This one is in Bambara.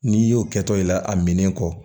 N'i y'o kɛtɔ i la a minen kɔ